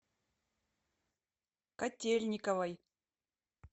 котельниковой